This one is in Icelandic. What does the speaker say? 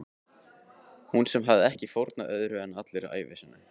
Hún sem hafði ekki fórnað öðru en allri ævi sinni.